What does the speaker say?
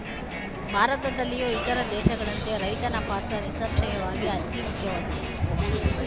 ಭಾರತದಲ್ಲಿಯೂ ಇತರ ದೇಶಗಳಂತೆ ರೈತನ ಪಾತ್ರ ನಿಸ್ಸಂಶಯವಾಗಿಯೂ ಅತಿಮುಖ್ಯವಾದುದು